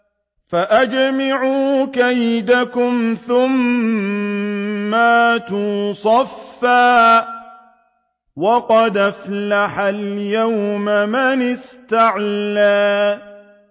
فَأَجْمِعُوا كَيْدَكُمْ ثُمَّ ائْتُوا صَفًّا ۚ وَقَدْ أَفْلَحَ الْيَوْمَ مَنِ اسْتَعْلَىٰ